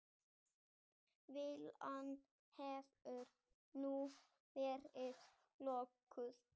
Villan hefur nú verið löguð